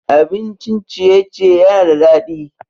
Abincin ciye-ciye yana da daɗi.